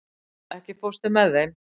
Erla, ekki fórstu með þeim?